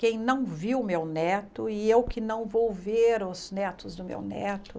Quem não viu meu neto e eu que não vou ver os netos do meu neto.